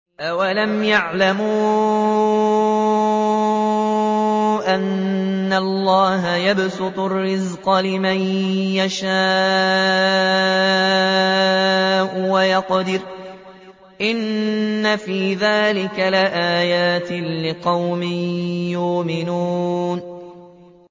أَوَلَمْ يَعْلَمُوا أَنَّ اللَّهَ يَبْسُطُ الرِّزْقَ لِمَن يَشَاءُ وَيَقْدِرُ ۚ إِنَّ فِي ذَٰلِكَ لَآيَاتٍ لِّقَوْمٍ يُؤْمِنُونَ